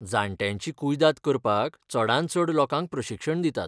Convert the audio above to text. जाण्ट्यांची कुयदाद करपाक चडांत चड लोकांक प्रशिक्षण दितात.